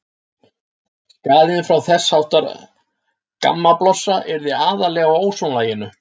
Skaðinn frá þess háttar gammablossa yrði aðallega á ósonlaginu.